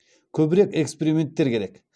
көбірек эксперименттер керек